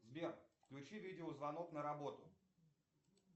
сбер включи видеозвонок на работу